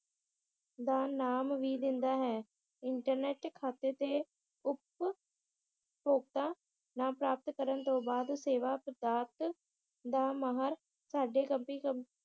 ਦਾ ਨਾਮ ਵੀ ਦਿੰਦਾ ਹੈ ਇੰਟਰਨੇਟ ਖਾਤੇ ਤੇ ਉਪ ਭੋਗਤਾ ਪ੍ਰਾਪਤ ਕਰਨ ਤੋਂ ਬਾਅਦ ਸੇਵਾ ਪ੍ਰਭਾਤ ਦਾ ਮਾਹਰ ਸਾਡੇ ਕਮ~